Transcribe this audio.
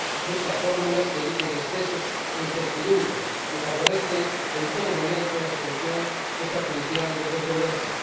Busca fórmulas que eviten excesos e incertidumbres y favorece en todo momento la solución extrajudicial de controversias.